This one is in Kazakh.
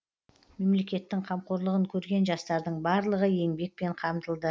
мемлекеттің қамқорлығын көрген жастардың барлығы еңбекпен қамтылды